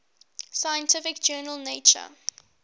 scientific journal nature